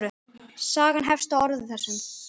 Sagan hefst á þessum orðum